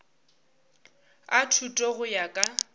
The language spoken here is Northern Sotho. a thuto go ya ka